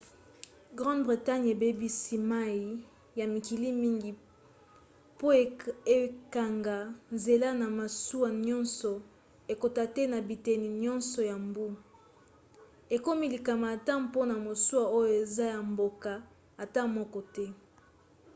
grande bretagne ebebisi mai ya mikili mingi po ekanga nzela na masuwa nyonso ekota te na biteni nyonso ya mbu ekomi likama ata mpona masuwa oyo eza ya mboka ata moko te